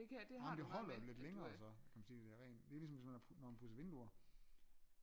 Ah jamen det holder jo lidt længere så kan man sige det rent det er ligesom når man har pudset vinduer